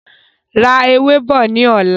Ra ẹ̀wà bọ̀ ní ọ̀la.